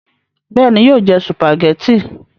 bẹ́ẹ̀ni, yóò jẹ sùpàgẹ́tì